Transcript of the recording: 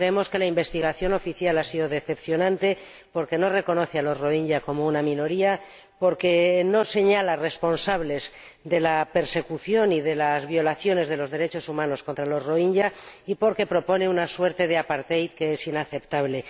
Creemos que la investigación oficial ha sido decepcionante porque no reconoce a los rohingya como una minoría, porque no señala responsables de la persecución y de las violaciones de los derechos humanos contra los rohingya y porque propone una suerte de que es inaceptable.